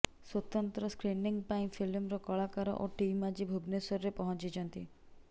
ସ୍ୱତନ୍ତ୍ର ସ୍କ୍ରିନିଂ ପାଇଁ ଫିଲ୍ମର କଳାକାର ଓ ଟିମ୍ ଆଜି ଭୁବନେଶ୍ୱରରେ ପହଞ୍ଚିଛନ୍ତି